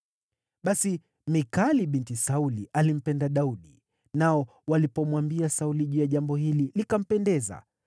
Basi Mikali binti Sauli alimpenda Daudi, nao walipomwambia Sauli juu ya jambo hili, likampendeza.